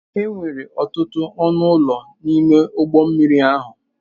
Enwere ọtụtụ ọnụ ụlọ n'ime ụgbọ mmiri ahụ.